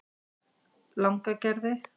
Langagerði